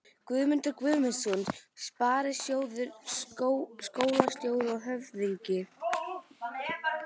Guðmundur Guðmundsson sparisjóðsstjóri, skólastjóri og höfðingi